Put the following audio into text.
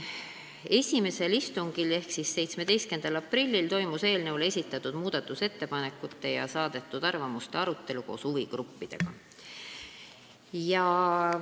Esimesel istungil ehk siis 17. aprillil toimus eelnõu kohta esitatud muudatusettepanekute ja saadetud arvamuste arutelu koos huvigruppidega.